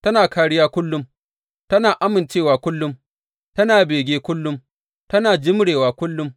Tana kāriya kullum, tana amincewa kullum, tana bege kullum, tana jimrewa kullum.